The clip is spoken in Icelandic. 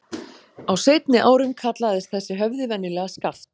Á seinni árum kallaðist þessi höfði venjulega Skaft.